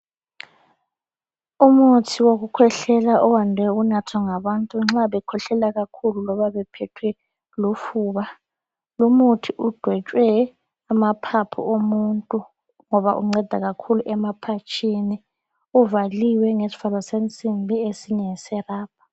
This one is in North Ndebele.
Umuthi wokukhwehlela owande ukunathwa ngabantu nxa bekhwehlela kakhulu loba bephethwe lufuba. Lumuthi udwetshwe amaphaphu omuntu ngoba unceda kakhulu emaphatshini. Uvaliwe ngesivalo sensimbi esinye ngeserabha.